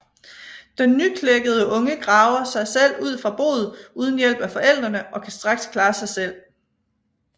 Den nyklækkede unge graver sig selv ud fra boet uden hjælp af forældrene og kan straks klare sig selv